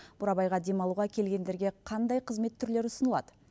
бурабайға демалуға келгендерге қандай қызмет түрлері ұсынылады